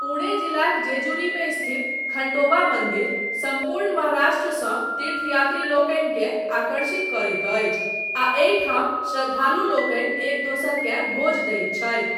पुणे जिलाक जेजुरीमे स्थित खण्डोबा मन्दिर सम्पूर्ण महाराष्ट्रसँ तीर्थयात्रीलोकनिकेँ आकर्षित करैत अछि आ एहिठाम श्रद्धालुलोकनि एक दोसरकेँ भोज दैत छथि।